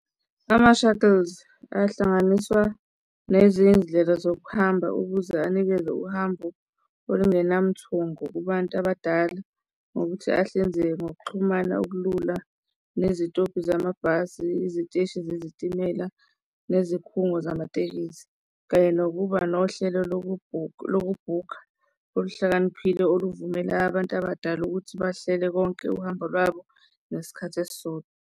Ama-shuttles ahlanganiswa nezindlela zokuhamba ukuze anikeze uhambo olungenamthungo kubantu abadala ngokuthi ahlinzeke ngokuxhumana okulula nezitobhi zamabhasi, iziteshi zezitimela nezikhungo zamatekisi kanye nokuba nohlelo loku-book lokubhukha oluhlakaniphile oluvumela abantu abadala ukuthi bahlele konke uhambo lwabo ngesikhathi esisodwa.